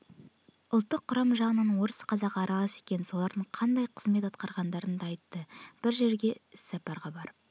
ұлттық құрамы жағынан орыс-қазағы аралас екен олардың қандай қызмет атқарғандарын да айтты бір жерге іссапраға барып